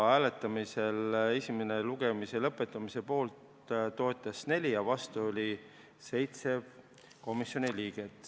Hääletamisel toetas esimese lugemise lõpetamist 4 ja vastu oli 7 komisjoni liiget.